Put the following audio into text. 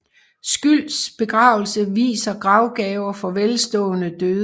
Scylds begravelse viser gravgaver for velstående døde